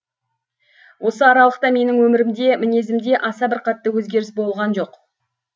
осы аралықта менің өмірімде мінезімде аса бір қатты өзгеріс болған жоқ